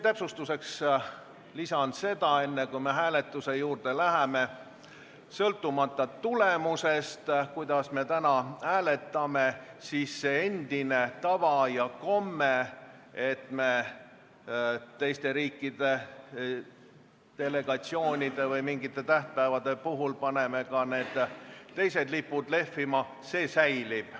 Täpsustuseks lisan, et enne kui me hääletuse juurde läheme ja sõltumata tulemusest, kuidas me täna hääletame, see tava, et me teiste riikide delegatsioonide või mingite tähtpäevade puhul paneme ka need teised lipud lehvima, säilib.